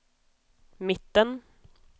mitten